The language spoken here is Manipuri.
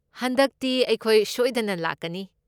ꯍꯟꯗꯛꯇꯤ ꯑꯩꯈꯣꯏ ꯁꯣꯏꯗꯅ ꯂꯥꯛꯀꯅꯤ꯫